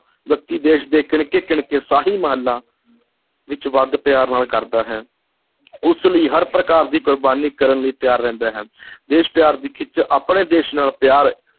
ਵਿਅਕਤੀ ਦੇਸ਼ ਦੇ ਕਿਣਕੇ-ਕਿਣਕੇ ਸ਼ਾਹੀ ਮਹਿਲਾਂ ਵਿੱਚ ਵੱਧ ਪਿਆਰ ਨਾਲ ਕਰਦਾ ਹੈ ਉਸ ਲਈ ਹਰ ਪ੍ਰਕਾਰ ਦੀ ਕੁਰਬਾਨੀ ਕਰਨ ਲਈ ਤਿਆਰ ਰਹਿੰਦਾ ਹੈ ਦੇਸ਼ ਪਿਆਰ ਦੀ ਖਿੱਚ ਆਪਣੇ ਦੇਸ਼ ਨਾਲ ਪਿਆਰ